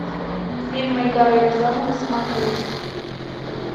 фильм эльдара рязанова смотреть